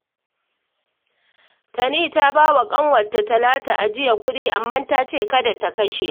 Tani ta ba wa ƙawarta Talatu ajiyar kuɗi, amma ta ce kada ta kashe